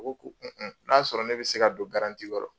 U ko ko n'a y'a sɔrɔ ne bi se ka don kɔrɔ